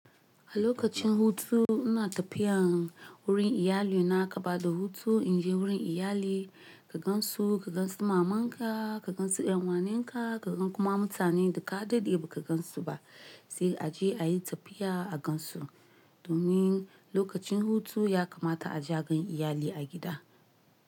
A lokacin hutu ina tafiya wurin iyali na, akaba da hutu in je wurin iyali ka gan su, ka gan su maman ka, ka gan su ƴan uwa ninka, ka gan kuma mutane da ka daɗe ba ka gansu ba sai a je ayi tafiya a gan su. Domin lokacin hutu yakamata a je a gan iyali a gida.